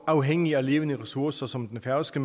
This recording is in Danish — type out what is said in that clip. afhængig af levende ressourcer som den færøske